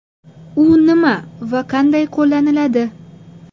U nima va qanday qo‘llaniladi?.